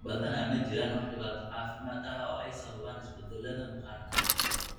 Badanaa ma jiraan wax dhibaato caafimaad ah oo ay sababaan isbeddelladan maqaarka.